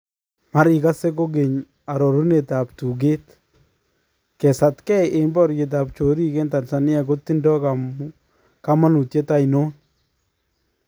Marikase kokeny arorunetab tukeet, kesatkeey en baryeetab choriik en Tanzania kotindoo kamanutyet ainon?